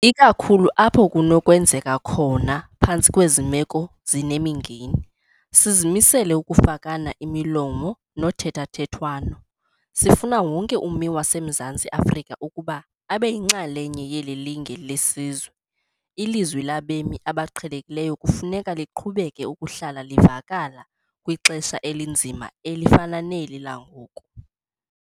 Ikakhulu apho kunokwenzeka khona phantsi kwezi meko zinemingeni, sizimisele ukufakana imilomo nothethathethwano. Sifuna wonke ummi waseMzantsi Afrika ukuba abe yinxalenye yeli linge lesizwe. Ilizwi labemi abaqhelekileyo kufuneka liqhubeke ukuhlala livakala kwixesha elinzima elifana neli langoku.